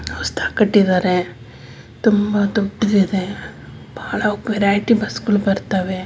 ಹೊಸದಾಗಿ ಕಟ್ಟಿದ್ದಾರೆ ತುಂಬಾ ದೊಡ್ಡದಿದೆ ಬಹಳ ವೆರೈಟಿ ಬಸ್ಸುಗಳು ಬರ್ತವೆ--